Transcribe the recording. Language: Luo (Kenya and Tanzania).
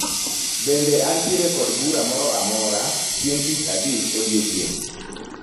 Bende antiere kod bura moro amora chieng' tich abich odiechieng'?